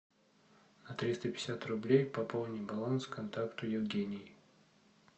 на триста пятьдесят рублей пополни баланс контакту евгений